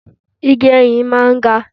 Igi ẹyìn máa ń ga.